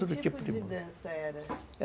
Que tipo de dança era?